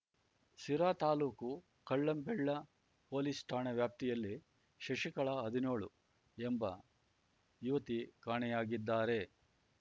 ಸಿರಾ ತಾಲ್ಲೂಕು ಕಳ್ಳಂಬೆಳ್ಳ ಪೊಲೀಸ್ ಠಾಣೆ ವ್ಯಾಪ್ತಿಯಲ್ಲಿ ಶಶಿಕಲಾ ಹದಿನ್ಯೋಳು ಎಂಬ ಯುವತಿ ಕಾಣೆಯಾಗಿದ್ದಾರೆ